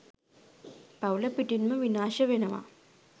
පවුල පිටින්ම විනාශ වෙනවා.